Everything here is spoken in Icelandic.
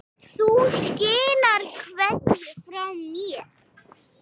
Þú skilar kveðju frá mér.